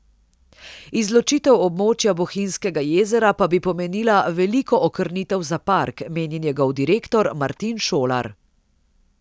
Izločitev območja Bohinjskega jezera pa bi pomenila veliko okrnitev za park, meni njegov direktor Martin Šolar.